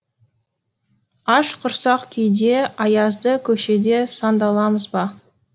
аш құрсақ күйде аязды көшеде сандаламыз ба